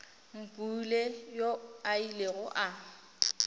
mpule yoo a ilego a